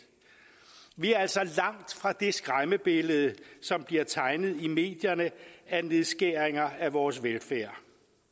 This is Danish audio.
vi er altså langt fra det skræmmebillede som bliver tegnet i medierne af nedskæringer af vores velfærd